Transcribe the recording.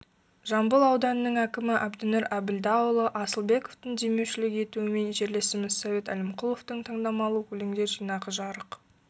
жамбыл ауданының әкімі әбдінұр әбілдаұлы асылбековтың демеушілік етуімен жерлесіміз совет әлімқұловтың таңдамалы өлеңдер жинағы жарық